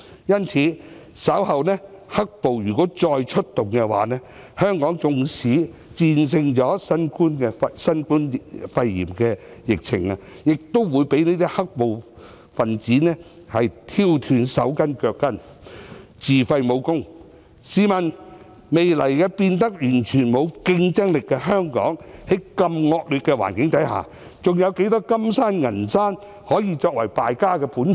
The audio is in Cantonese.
因此，如果"黑暴"稍後再出動，香港縱使戰勝新冠肺炎的疫情，亦會被"黑暴"分子挑斷"手筋腳筋"，自廢武功，試問未來變得完全沒有競爭力的香港，在如此惡劣的環境下，還有多少"金山"、"銀山"可以作為敗家的本錢？